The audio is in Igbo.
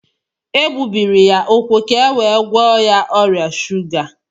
E gbubiri ya úkwú ka e wee gwọọ ya ọrịa shuga